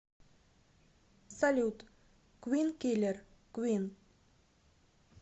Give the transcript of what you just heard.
салют квин киллер квин